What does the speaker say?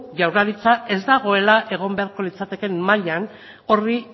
jaurlaritza ez dagoela egon beharko litzatekeen mailan horri